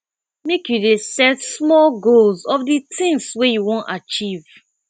make you dey set small goals of di tins wey you wan achieve